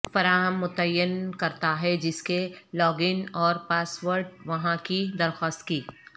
فراہم متعین کرتا ہے جس کے لاگ ان اور پاس ورڈ وہاں کی درخواست کی